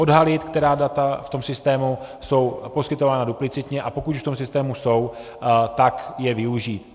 Odhalit, která data v tom systému jsou poskytována duplicitně, a pokud v tom systému jsou, tak je využít.